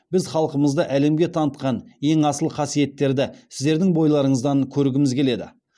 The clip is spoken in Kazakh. біз халқымызды әлемге танытқан ең асыл қасиеттерді сіздердің бойларыңыздан көргіміз келеді